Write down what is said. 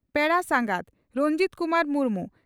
ᱯᱮᱲᱟ ᱥᱟᱸᱜᱟᱛ (ᱨᱚᱧᱡᱤᱛ ᱠᱩᱢᱟᱨ ᱢᱩᱨᱢᱩ)